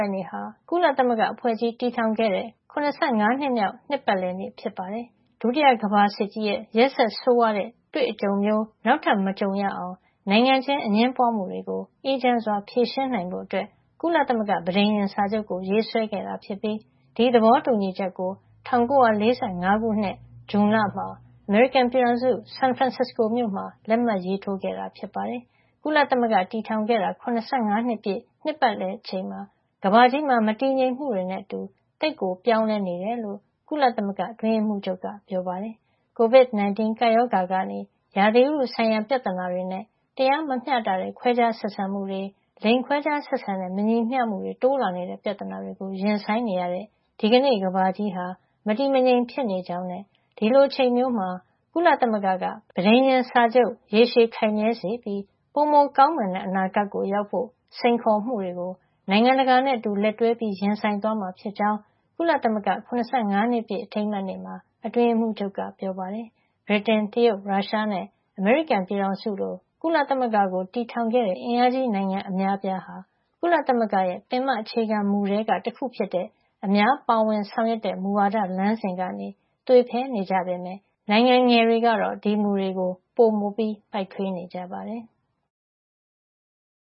က် နေ့ဟာ ကုလသမဂ္ဂအဖွဲ့ကြီးတည်ထောင် ခဲ့တဲ့ ၇၅ နှစ်မြောက် နှစ်ပတ်လည်နေ့ ဖြစ်ပါတယ်။ ဒုတိယကမ္ဘာစစ်ကြီးရဲ့ ရက်စက်ဆိုးဝါးတဲ့ တွေ့အကြုံမျိုး နောက်ထပ်မကြုံရအောင် နိုင်ငံချင်း အငြင်းပွါးမှုတွေ ကို အေးချမ်းစွာဖြေရှင်းနိုင်ဖို့ ကုလသမဂ္ဂ ပဋိညာဉ်စာချုပ်ကို ရေးဆွဲခဲ့တာ ဖြစ်ပြီး ဒီသဘောတူညီချက်ကို ၁၉ ၄၅ ခုနှစ်ဇွန်လမှာ အမေရိကန်ပြည်ထောင်စု San Francisco မြို့မှာ လက်မှတ်ရေးထိုးခဲ့တာ ဖြစ်ပါတယ်။ ကုလသမဂ္ဂတည်ထောင်ခဲ့တာ ၇၅ နှစ်ပြည့် နှစ်ပတ်လည် အချိန်မှာ ကမ္ဘာကြီးမှာ မတည်ငြိမ်မှုတွေနဲ့ သိပ်ကို ပြောင်းလဲနေတယ်လို့ ကုလသမဂ္ဂ အတွင်းရေးမှူးချုပ်က ပြောပါတယ်။ COVID-19 ကပ်ရောဂါကနေ ရာသီဥတုဆိုင်ရာ ပြဿနာတွေနဲ့၊ တရားမမ ျှတတဲ့ ခွဲခြားဆက်ဆံမှုတွေ၊ လိင်ခွဲခြားဆက်ဆံတဲ့ မညီမ ျှမှု တိုးလာတဲ့ ပြဿနာတွေကို ရင်ဆိုင်နေရတဲ့ ဒီကနေ့ကမ္ဘာကြီးဟာ မတည်မငြိမ်ဖြစ်နေကြောင်း ဒီလိုအချိန်မျိုးမှာ ကုလသမဂ္ဂက ပဋိညာဉ်စာချုပ် ရေရှည်ခိုင်မြဲစေပြီး ပိုကောင်းမွန်တဲ့ အနာဂတ်ကို ရောက်ဖို့ စိန်ခေါ်မှုတွေကို နိုင်ငံတကာနဲ့ အတူ လက်တွဲ ရင်ဆိုင်သွားမှာ ဖြစ်ကြောင်း ကုလသမဂ္ဂ ၇၅ နှစ်ပြည့်အထိမ်းအမှတ်နေ့မှာ အတွင်းရေးမှူးချုပ်က ပြောပါတယ်။ ဗြိတိန်၊ တရုတ်၊ ရုရှားနဲ့ အမေရိကန်ပြည်ထောင်စုလို့ ကုလသမဂ္ဂကို တည်ထောင်ခဲ့တဲ့ အင်အားကြီး နိုင်ငံ အများအပြားဟာ ကုလသမဂ္ဂရဲ့ ပင်မ အခြေခံမူထဲကတခုဖြစ်တဲ့ အများပါဝင်ဆောင်ရွက်တဲ့ မူဝါဒ လမ်းစဉ်ကနေ သွေဖည်နေကြပေမဲ့ နိုင်ငံငယ်တွေကတော့ ဒီမူတွေကို ပိုမိုပိုက်ထွေးနေကြပါတယ်။